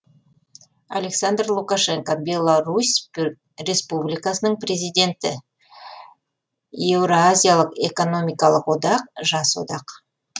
александр лукашенко беларусь республикасының президенті еуразиялық экономиялық одақ жас одақ